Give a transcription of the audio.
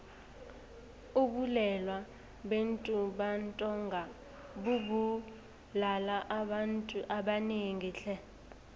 ubulwele bentumbantonga bubulala abantu abanengi tle